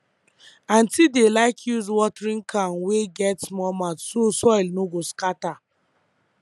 aunty dey like use watering can wey get small mouth so soil no go scatter